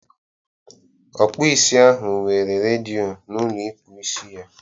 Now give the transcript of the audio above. Ọkpụisi ahụ nwere redịo na ụlọ ịkpụ isi ya.